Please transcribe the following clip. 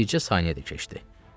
Bircə saniyə də keçdi.